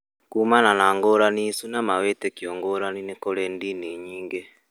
Kumana na ngũrani icio na mawĩtĩkio ngũrani nĩkũrĩ ndini nyingĩ